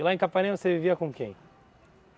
E lá em Capanema você vivia com quem?